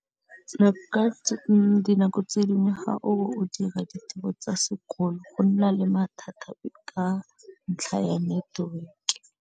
Dinako tse dingwe ga o dira ditiro tsa sekolo go nna le mathata ka ntlha ya network.